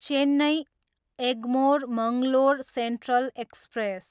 Chennai, Egmore Mangalore central express